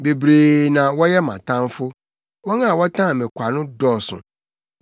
Bebree na wɔyɛ mʼatamfo; wɔn a wɔtan me kwa no dɔɔso.